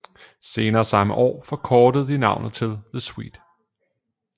Senere samme år forkortede de navnet til The Sweet